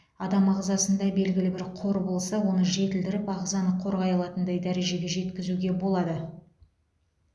адам ағзасында белгілі бір қор болса оны жетілдіріп ағзаны қорғай алатындай дәрежеге жеткізуге болады